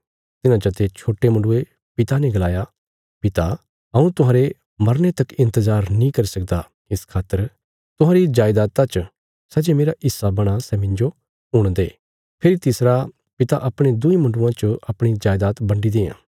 तिन्हां चते छोट्टे मुण्डुये पिता ने गलाया पिता हऊँ तुहांरे मरने तक इन्तजार नीं करी सकदा इस खातर तुहांरी जायदाता च सै जे मेरा हिस्सा बणां सै मिन्जो हुण दे फेरी तिसरा पिता अपणे दुईं मुण्डुआं च अपणी जायदात बन्डी देआं